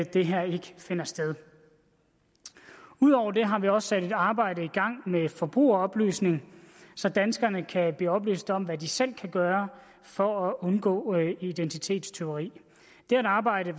det her ikke finder sted ud over det har vi også sat et arbejde i gang med forbrugeroplysning så danskerne kan blive oplyst om hvad de selv kan gøre for at undgå identitetstyveri det er et arbejde